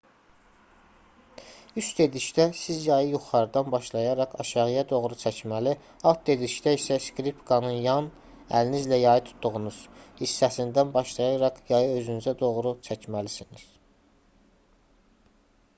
"üst dedikdə siz yayı yuxarıdan başlayaraq aşağıya doğru çəkməli alt dedikdə isə skripkanın yan əlinizlə yayı tutduğunuz hissəsindən başlayaraq yayı özünüzə doğru çəkməlisiniz